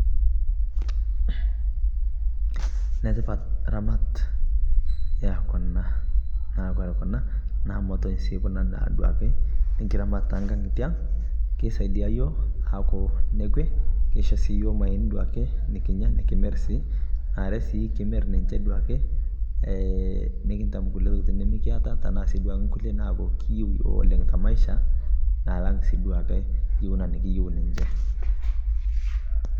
Netipaat ramaat ee kuna. Naa kore kuna naa mootoi sii kuna naa duake nkiramaat e nkaang'a yitiang. Keisadia yoo aaku ne kwee, keishoo sii yoo maayeni nikinyaa nikimiir sii. Naa aare sii kimiir ninchee duake eeh nikintaam nkulee ntokitin duake nikimeeta tana sii nkule naado kiyeu yoo ole te maisha nalaang sii duake kiyeu naa kiyeu ninchee.